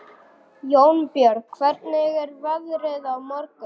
Jónbjörg, hvernig er veðrið á morgun?